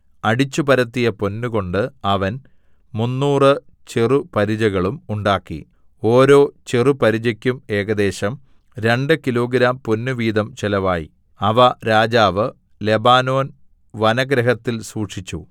അടിച്ചുപരത്തിയ പൊന്ന് കൊണ്ട് അവൻ മുന്നൂറ് ചെറുപരിചകളും ഉണ്ടാക്കി ഓരോ ചെറുപരിചക്കും ഏകദേശം രണ്ടു കിലോഗ്രാം പൊന്ന് വീതം ചെലവായി അവ രാജാവ് ലെബാനോൻ വനഗൃഹത്തിൽ സൂക്ഷിച്ചു